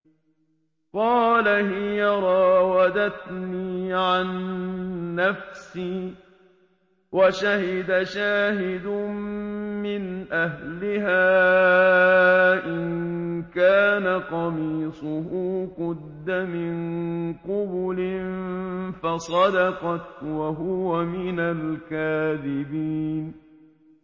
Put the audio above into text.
قَالَ هِيَ رَاوَدَتْنِي عَن نَّفْسِي ۚ وَشَهِدَ شَاهِدٌ مِّنْ أَهْلِهَا إِن كَانَ قَمِيصُهُ قُدَّ مِن قُبُلٍ فَصَدَقَتْ وَهُوَ مِنَ الْكَاذِبِينَ